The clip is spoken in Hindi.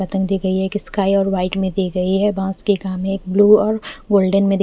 पतन दी गयी है किसका है और वाइट में दी गयी है बांस के गा में ब्लू एंड गोल्डन --